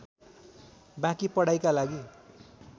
बाँकी पढाइका लागि